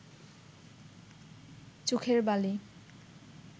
চোখের বালি